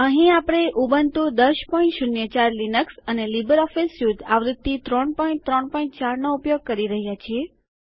અહીં આપણે Ubuntu ૧૦૦૪ Linux અને લીબરઓફીસ સ્યુટ આવૃત્તિ ૩૩૪ નો ઉપયોગ કરી રહ્યા છીએ